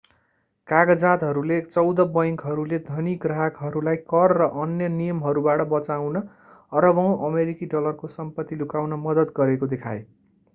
कागजातहरूले चौध बैंकहरूले धनी ग्राहकहरूलाई कर र अन्य नियमहरूबाट बचाउन अरबौँ अमेरिकी डलरको सम्पत्ति लुकाउन मद्दत गरेको देखाए